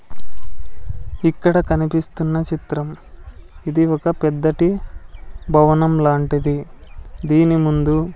ఇక్కడ కనిపిస్తున్న చిత్రం ఇది ఒక పెద్దటి భవనం లాంటిది దీని ముందు--